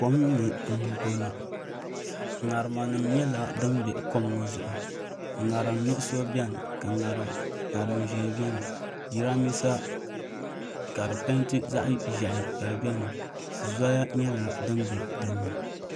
Kom ni n bɔŋɔ katiŋa nim nyɛla din pa kom ŋɔ zuɣu. ŋariŋ nuɣuso beni ka ŋariŋ ʒɛɛ beni. jiran bisa kadi pɛɛnti zaɣi ʒɛhi kadi beni. zoya nyɛla din be dini